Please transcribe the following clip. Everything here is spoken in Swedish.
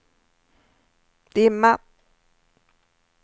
dimma